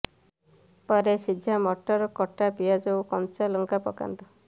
ପରେ ସିଝା ମଟର କଟା ପିଆଜ ଓ କଞ୍ଚା ଲଙ୍କା ପକାନ୍ତୁ